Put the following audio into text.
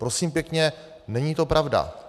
Prosím pěkně, není to pravda.